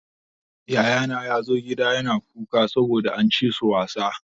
Yayana ya zo gida yana kuka saboda an ci su wasan.